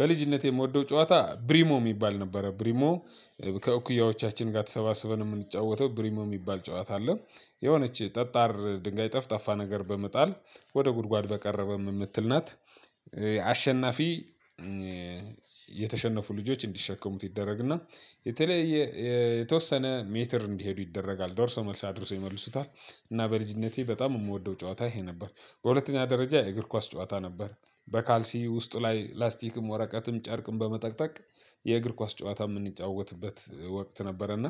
በልጅነቴ የምወደው ጨዋታ ብሪሞ የሚባል ነበረ። ብሪሞ ከእኩያዎቻችን ጋር ተሰባስበን የምንጫወተው ብሪሞ የሚባል ጨዋታ አለ የሆነች ጠጣር ድንጋይ ጠፍጣፋ ነገር በመጣል ወደ ጉድጓድ በቀረበ የምትል ናት። አሸናፊ እ የተሸነፉ ልጆች እንዲሸከሙት ይደረግና የተለየ እ የተወሰነ ሜትር እንዲሄዱ ይደረጋል ዶርሶ መልስ አድርሶ ይመልሱታል። እና በልጅነቴ በጣም የምወደው ጨዋታ ይሄ ነበር። በሁለተኛ ደረጃ የእግር ኳስ ጨዋታ ነበር። በካልሲ ውስጡ ላይ ላስቲክም ወራቀትም ጨርቅም በመጠቅጠቅ የእግር ኳስ ጨዋታ የምንጫወትበት ወቅት ነበረ። እና